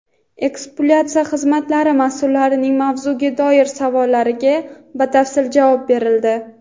ekspluatatsiya xizmatlari mas’ullarining mavzuga doir savollariga batafsil javob berildi.